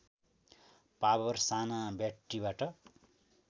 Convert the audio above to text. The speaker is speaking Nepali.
पावर साना ब्याट्रिबाट